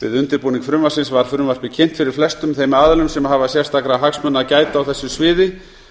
við undirbúning frumvarpsins var frumvarpið kynnt fyrir flestum þeim aðilum sem hafa sérstakra hagsmuna að gæta á þessu sviði